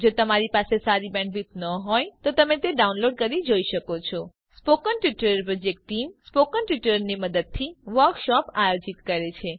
જો તમારી પાસે સારી બેન્ડવિડ્થ ન હોય તો તમે ડાઉનલોડ કરી તે જોઈ શકો છો spoken tutorial project team spoken ટ્યુટોરીયલોની મદદથી વર્કશોપ આયોજિત કરે છે